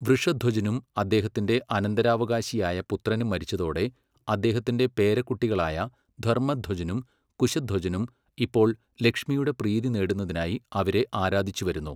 വൃഷധ്വജനും അദ്ദേഹത്തിൻ്റെ അനന്തരാവകാശിയായ പുത്രനും മരിച്ചതോടെ അദ്ദേഹത്തിൻ്റെ പേരക്കുട്ടികളായ ധർമ്മധ്വജനും കുശധ്വജനും ഇപ്പോൾ ലക്ഷ്മിയുടെ പ്രീതി നേടുന്നതിനായി അവരെ ആരാധിച്ചുവരികയായിരുന്നു.